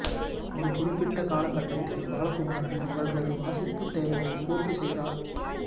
ஒரு குறிப்பிட்ட கால கட்டத்தில் பாலகுமாரன் இவர்களது வாசிப்புத் தேவையை பூர்த்தி செய்தார்